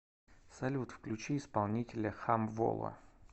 салют включи исполнителя хамвола